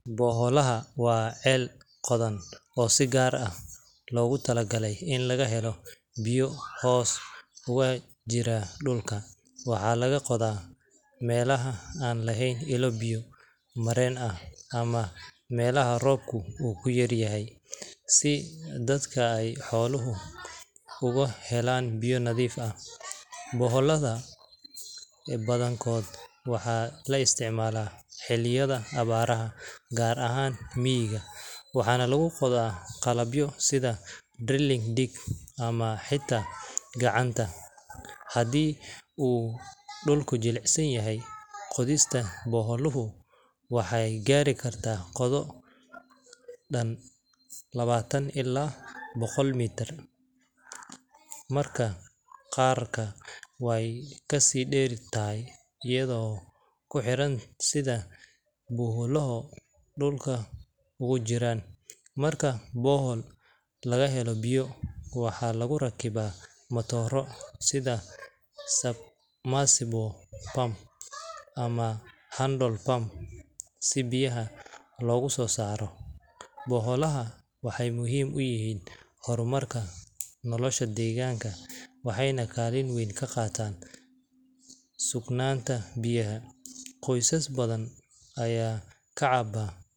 Boholaha waa ceelal qodan oo si gaar ah loogu talagalay in laga helo biyo hoos uga jira dhulka. Waxa laga qodayaa meelaha aan lahayn ilo biyo mareen ah ama meelaha roobku ku yar yahay si dadka iyo xooluhu uga helaan biyo nadiif ah. Boholaha badankooda waxaa la isticmaalaa xilliyada abaaraha gaar ahaan miyiga, waxaana lagu qodaa qalabyo sida drilling rig ama xitaa gacanta haddii uu dhulku jilicsan yahay. Qodista boholuhu waxay gaari kartaa qoto dhan labaatan ilaa boqol mitir, mararka qaarna way ka sii dheer tahay iyadoo ku xiran sida biyuhu dhulka ugu jiraan. Marka bohol laga helo biyo, waxaa lagu rakibaa matooro sida submersible pump ama hand pump si biyaha loogu soo saaro sare. Boholaha waxay muhiim u yihiin horumarka nolosha deegaanka waxayna kaalin weyn ka qaataan sugnaanta biyaha. Qoysas badan ayaa ka cabba